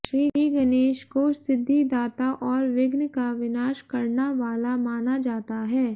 श्रीगणेश को सिद्धिदाता और विघ्न का विनाश करना वाला माना जाता है